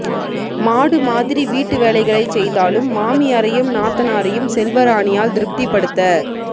மாடு மாதிரி வீட்டு வேலைகளைச் செய்தாலும் மாமியாரையும் நாத்தனாரையும் செல்வராணியால் திருப்திபடுத்த